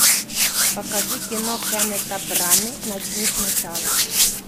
покажи кино кеннета браны начни сначала